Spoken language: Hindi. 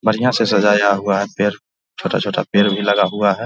बढ़ियाँ से सजाया हुआ है पेड़ छोटा-छोटा पेड़ भी लगा हुआ है ।